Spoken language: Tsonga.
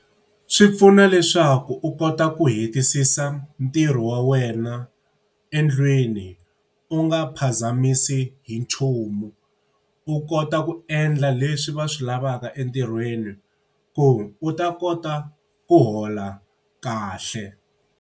Swi pfuna leswaku u kota ku hetisisa ntirho wa wena endlwini u nga phazamisi hi nchumu. U kota ku endla leswi va swi lavaka entirhweni, ku u ta kota ku hola kahle.